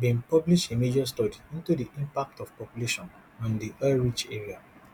bin publish a major study into di impact of pollution on di oilrich area